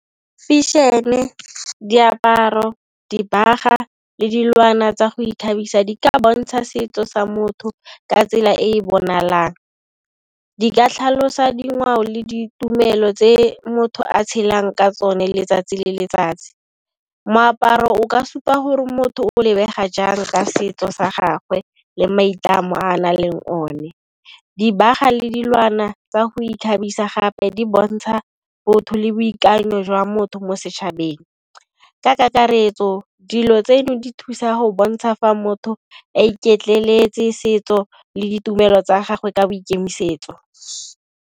Fashion, diaparo, dibaga le dilwana tsa go ikgabisa di ka bontsha setso sa motho ka tsela e e bonalang. Di ka tlhalosa dingwao le ditumelo tse motho a tshelang ka tsone letsatsi le letsatsi. Moaparo o ka supa gore motho o lebega jang ka setso sa gagwe le maitlamo a nang le ona, dibaga le dilwana tsa go ikgabisa gape di bontsha botho le boikanyo jwa motho mo setšhabeng. Ka kakaretso dilo tseno di thusa go bontsha fa motho e iketleletse le setso le ditumelo tsa gagwe ka boikemisetso.